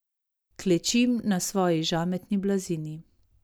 Klečim na svoji žametni blazini.